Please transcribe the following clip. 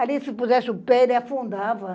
Ali se pusesse o pé, ele afundava.